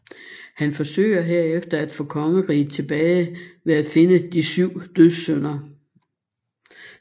Hun forsøger herefter at få kongeriget tilbage ved at finde De Syv Dødssynder